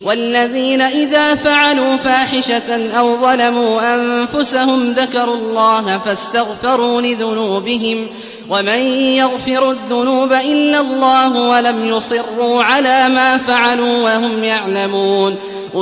وَالَّذِينَ إِذَا فَعَلُوا فَاحِشَةً أَوْ ظَلَمُوا أَنفُسَهُمْ ذَكَرُوا اللَّهَ فَاسْتَغْفَرُوا لِذُنُوبِهِمْ وَمَن يَغْفِرُ الذُّنُوبَ إِلَّا اللَّهُ وَلَمْ يُصِرُّوا عَلَىٰ مَا فَعَلُوا وَهُمْ يَعْلَمُونَ